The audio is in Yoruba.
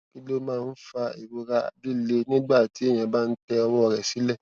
kí ló máa ń fa ìrora àti lilè nígbà téèyàn bá ń tẹ ọwọ rẹ sile